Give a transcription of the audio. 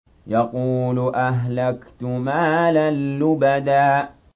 يَقُولُ أَهْلَكْتُ مَالًا لُّبَدًا